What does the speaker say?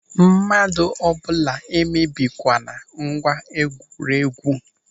Mmadụ ọ bụla emebikwala ngwa egwuregwu!